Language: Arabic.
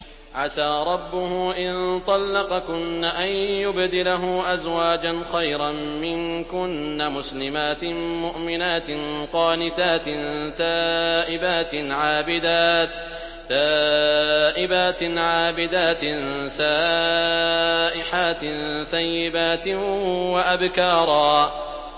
عَسَىٰ رَبُّهُ إِن طَلَّقَكُنَّ أَن يُبْدِلَهُ أَزْوَاجًا خَيْرًا مِّنكُنَّ مُسْلِمَاتٍ مُّؤْمِنَاتٍ قَانِتَاتٍ تَائِبَاتٍ عَابِدَاتٍ سَائِحَاتٍ ثَيِّبَاتٍ وَأَبْكَارًا